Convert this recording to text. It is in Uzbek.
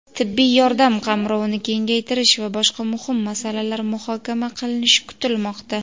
tibbiy yordam qamrovini kengaytirish va boshqa muhim masalalar muhokama qilinishi kutilmoqda.